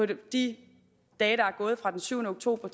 de dage der er gået fra den syvende oktober